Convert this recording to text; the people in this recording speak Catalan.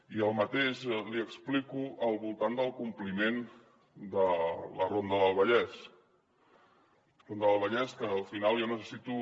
i el mateix li explico al voltant del compliment de la ronda del vallès la ronda del vallès que al final jo necessito